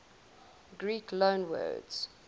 greek loanwords